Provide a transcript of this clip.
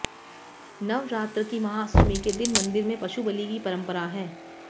नवरात्र की महाअष्टमी के दिन मंदिर में पशु बलि की परंपरा है